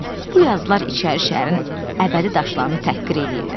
bu yazılar İçəri şəhərin əbədi daşlarını təhqir eləyirlər.